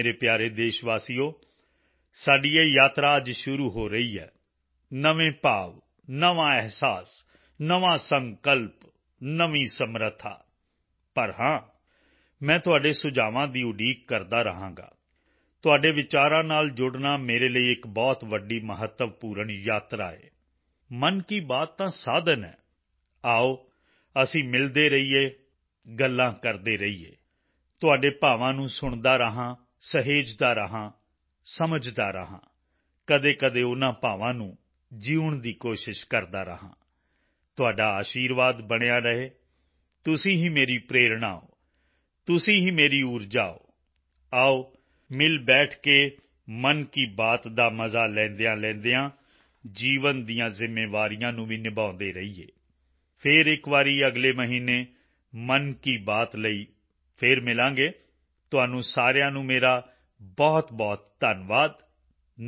ਮੇਰੇ ਪਿਆਰੇ ਦੇਸ਼ਵਾਸੀਓ ਸਾਡੀ ਇਹ ਯਾਤਰਾ ਅੱਜ ਸ਼ੁਰੂ ਹੋ ਰਹੀ ਹੈ ਨਵੇਂ ਭਾਵ ਨਵਾਂ ਅਹਿਸਾਸ ਨਵਾਂ ਸੰਕਲਪ ਨਵੀਂ ਸਮਰੱਥਾ ਪਰ ਹਾਂ ਮੈਂ ਤੁਹਾਡੇ ਸੁਝਾਵਾਂ ਦੀ ਉਡੀਕ ਕਰਦਾ ਰਹਾਂਗਾ ਤੁਹਾਡੇ ਵਿਚਾਰਾਂ ਨਾਲ ਜੁੜਨਾ ਮੇਰੇ ਲਈ ਇੱਕ ਬਹੁਤ ਵੱਡੀ ਮਹੱਤਵਪੂਰਨ ਯਾਤਰਾ ਹੈ ਮਨ ਕੀ ਬਾਤ ਤਾਂ ਸਾਧਨ ਹੈ ਆਓ ਅਸੀਂ ਮਿਲਦੇ ਰਹੀਏ ਗੱਲਾਂ ਕਰਦੇ ਰਹੀਏ ਤੁਹਾਡੇ ਭਾਵਾਂ ਨੂੰ ਸੁਣਦਾ ਰਹਾਂ ਸਹੇਜਦਾ ਰਹਾਂ ਸਮਝਦਾ ਰਹਾਂ ਕਦੇਕਦੇ ਉਨ੍ਹਾਂ ਭਾਵਾਂ ਨੂੰ ਜਿਊਣ ਦੀ ਕੋਸ਼ਿਸ਼ ਕਰਦਾ ਰਹਾਂ ਤੁਹਾਡਾ ਅਸ਼ੀਰਵਾਦ ਬਣਿਆ ਰਹੇ ਤੁਸੀਂ ਹੀ ਮੇਰੀ ਪ੍ਰੇਰਣਾ ਹੋ ਤੁਸੀਂ ਹੀ ਮੇਰੀ ਊਰਜਾ ਹੋ ਆਓ ਮਿਲ ਬੈਠ ਕੇ ਮਨ ਕੀ ਬਾਤ ਦਾ ਮਜ਼ਾ ਲੈਂਦਿਆਂਲੈਂਦਿਆਂ ਜੀਵਨ ਦੀਆਂ ਜ਼ਿੰਮੇਵਾਰੀਆਂ ਨੂੰ ਵੀ ਨਿਭਾਉਂਦੇ ਰਹੀਏ ਫਿਰ ਇੱਕ ਵਾਰੀ ਅਗਲੇ ਮਹੀਨੇ ਮਨ ਕੀ ਬਾਤ ਲਈ ਫਿਰ ਮਿਲਾਂਗੇ ਮੈਂ ਇੱਕ ਵਾਰ ਫਿਰ ਤੁਹਾਡਾ ਸਾਰਿਆਂ ਦਾ ਬਹੁਤ ਧੰਨਵਾਦ ਕਰਦਾ ਹਾਂ